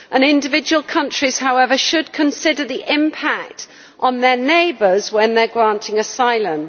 Individual countries, however, should consider the impact on their neighbours when they are granting asylum.